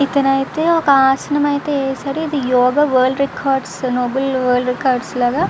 ఇక్కడైతే ఒక ఆసనం అయితే వేశారు. ఇది యోగ వరల్డ్ రికార్డ్స్ నోబుల్ రికార్డ్స్ లాగా --